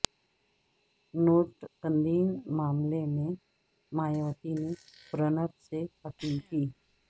note بندی معاملے میں مایاوتی نے پرنب سے اپیل کی